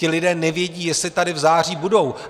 Ti lidé nevědí, jestli tady v září budou.